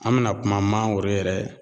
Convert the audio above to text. An me na kuma mangoro yɛrɛ